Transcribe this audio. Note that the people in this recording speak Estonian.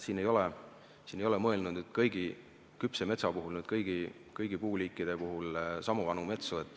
Siin ei ole mõeldud küpse metsa puhul, kõigi puuliikide puhul sama vanu metsi.